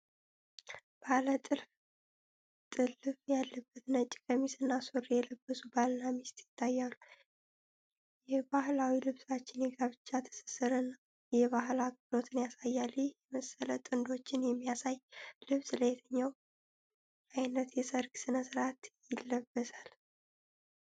ባለጥልፍ ጥልፍ ያለበት ነጭ ቀሚስና ሱሪ የለበሱ ባልና ሚስት ይታያሉ። የባሕላዊ ልብሳቸው የጋብቻ ትስስርንና የባህል አክብሮትን ያሳያል። ይህ የመሰለ ጥንዶችን የሚያሳይ ልብስ ለየትኛው ዓይነት የሰርግ ስነስርዓት ይለበሳል?